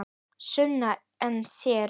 Sunna: En þér?